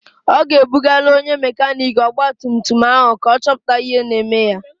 Ọ ga-ebugalụ onye mekaniiki ọgbatumtum ahụ ka ọ chọpụta ihe na-eme ya.